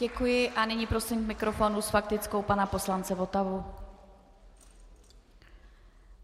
Děkuji a nyní prosím k mikrofonu s faktickou pana poslance Votavu.